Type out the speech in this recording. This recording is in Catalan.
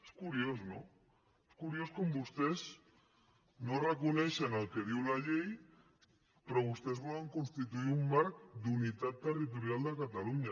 és curiós no és curiós com vostès no reconeixen el que diu la llei però vostès volen constituir un marc d’unitat territorial de catalunya